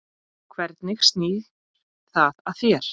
Hvernig snýr það að þér?